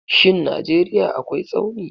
Shin Najeriya akwai Tsauni.